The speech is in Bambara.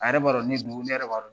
A yɛrɛ b'a dɔn ne don, ne yɛrɛ